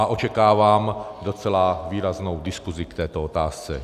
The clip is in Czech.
A očekávám docela výraznou diskusi k této otázce.